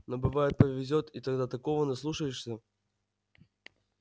но бывает повезёт и тогда такого наслушаешься